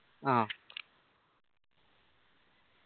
ആ